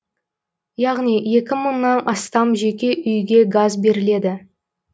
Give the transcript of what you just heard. яғни екі мыңнан астам жеке үйге газ беріледі